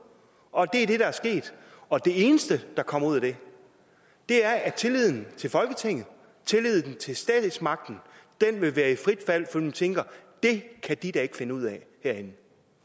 og det er det der er sket og det eneste der kommer ud af det er at tilliden til folketinget og tilliden til statsmagten vil være i frit fald fordi folk tænker det kan de da ikke finde ud af derinde